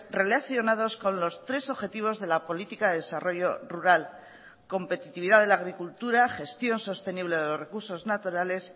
relacionados con los tres objetivos de la política de desarrollo rural competitividad de la agricultura gestión sostenible de los recursos naturales